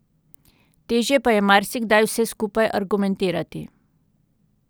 Težje pa je marsikdaj vse skupaj argumentirati.